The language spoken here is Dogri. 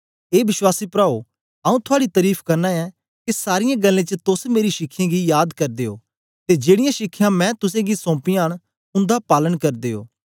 ए विश्वासी प्राओ आऊँ थुआड़ी तरीफ करना ऐं के सारीयें गल्लें च तोस मेरी शिखयें गी याद करदे ओ ते जेड़ीयां शिखयां मैं तुसेंगी सौमपियां न उंदा पालन करदे ओ